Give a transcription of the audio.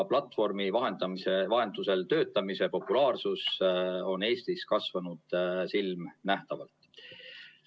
Platvormi vahendusel töötamise populaarsus on Eestis kasvanud silmanähtavalt.